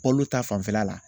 Olu ta fanfɛla la